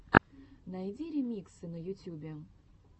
найди ремиксы на ютюбе